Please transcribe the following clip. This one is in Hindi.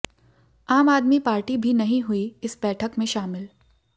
आम आदमी पार्टी भी नहीं हुई इस बैठक में शामिल